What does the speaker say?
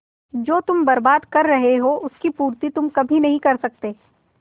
जो तुम बर्बाद कर रहे हो उसकी पूर्ति तुम कभी नहीं कर सकते